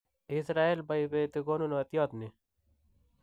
Israel maibeti konunotiot ni"